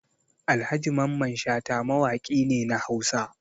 Alhaji Mamman Shata mawaki ne na Hausa.